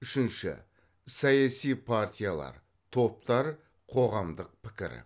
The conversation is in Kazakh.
үшінші саяси партиялар топтар қоғамдық пікір